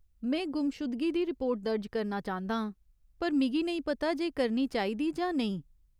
में गुमशुदगी दी रिपोर्ट दर्ज करना चांह्दा आं पर मिगी नेईं पता जे करनी चाहिदा जां नेईं।